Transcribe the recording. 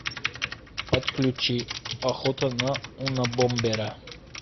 подключи охота на унабомбера